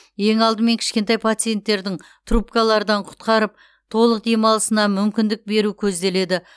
ең алдымен кішкентай пациентердің трубкалардан құтқарып толық демалысына мүмкіндік беру көзделеді